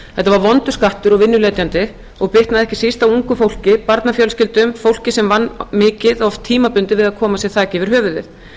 þetta var vondur skattur og vinnuletjandi og bitnaði ekki síst á ungu fólki barnafjölskyldum fólki sem vann mikið oft tímabundið við að koma sér þaki yfir höfuðið